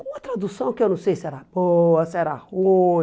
Com uma tradução que eu não sei se era boa, se era ruim.